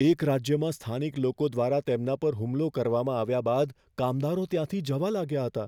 એક રાજ્યમાં સ્થાનિક લોકો દ્વારા તેમના પર હુમલો કરવામાં આવ્યા બાદ કામદારો ત્યાંથી જવા લાગ્યા હતા.